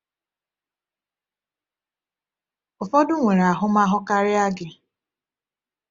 Ụfọdụ nwere ahụmahụ karịa gị.